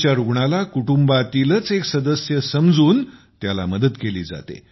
च्या रुग्णाला कुटुंबातीलच एक सदस्य समजून त्याची मदत केली जाते